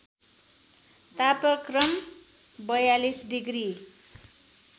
तापक्रम ४२ डिग्री